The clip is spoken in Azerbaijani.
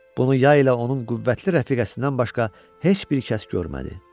Bunu yay ilə onun qüvvətli rəfiqəsindən başqa heç bir kəs görmədi.